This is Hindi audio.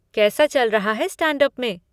कैसा चल रहा है स्टैंड अप में?